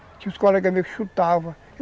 Tinha uns colegas meus que chutavam.